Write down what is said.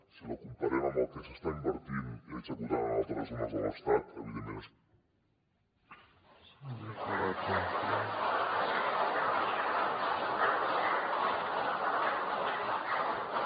si la comparem amb el que s’està invertint i executant en altres zones de l’estat evidentment és